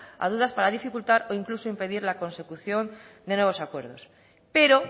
a dudas para dificultar o incluso impedir la consecución de nuevos acuerdos pero